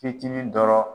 Fitinin dɔrɔn